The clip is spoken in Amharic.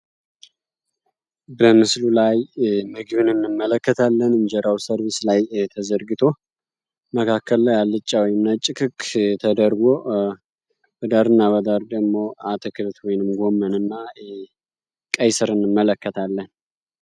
በምስሉ ላይ ምግብ እንመለከታለን እንጀራው ሰርቢስ ላይ ተዘርግቶ መካከል ላይ አልጫ ወይንም ነጭ ክክ ተደርጎ በዳር እና በዳር ደግሞ አትክልት ወይንም ደግሞ ቀይስርና ጎመን እንመለከታለን።